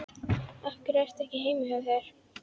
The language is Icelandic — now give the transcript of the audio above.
Af hverju ertu ekki heima hjá þér?